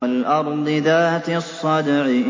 وَالْأَرْضِ ذَاتِ الصَّدْعِ